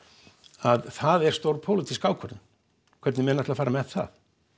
að það er stór pólitísk ákvörðun hvernig menn ætla að fara með það